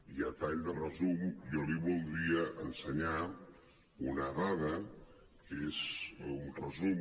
i a tall de resum jo li voldria ensenyar una dada que és un resum